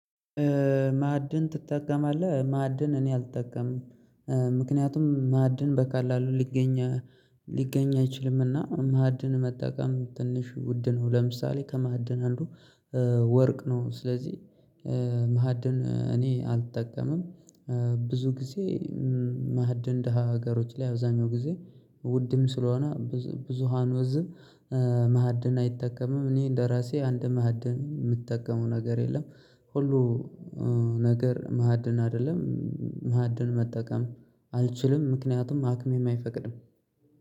ማዕድን ትጠቀማለህ ማዕድን እኔ አልጠቀምም ምክንያቱም ማዕድን በቃል አሉ ሊገኝ ሊገኝ አይችልምና። ማዕድን መጠቀም ትንሽ ውድ ነው። ለምሳሌ ከማዕድን አንዱ ወርቅ ነው። ስለዚህ ማዕድን እኔ አልጠቀምም። ብዙ ጊዜ ማእደን ደሃ ሀገሮች ላይ አብዛኛው ጊዜ ውድም ስለሆነ ብዙ ብዙሃኑ ህዝብ አይጠቀምም። እኔ እንደራሴ አንድ ማዕድን የምጠቀመው ነገር የለም። ሁሉ ነገር ማዕድን አይደለም። ማዕድን መጠቀም አልችልም ምክንያቱም አቅሜም አይፈቅድም።